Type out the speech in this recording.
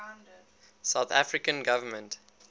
south african government